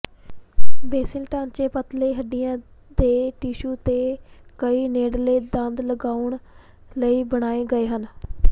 basil ਢਾਂਚੇ ਪਤਲੇ ਹੱਡੀਆਂ ਦੇ ਟਿਸ਼ੂ ਤੇ ਕਈ ਨੇੜਲੇ ਦੰਦ ਲਗਾਉਣ ਲਈ ਬਣਾਏ ਗਏ ਹਨ